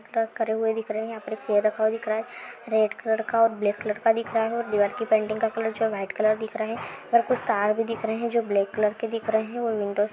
दिख रहे हैं यहां पे एक चेयर रखा हुआ दिख रहा है रेड कलर का और ब्लाक कलर का दिख रहा है और दीवार की पेंटिंग का कलर वाईट कलर दिख रहा है और कुछ तार भी दिख रहे हैं जो ब्लेक कलर के दिख रहे हैं और विंडोस --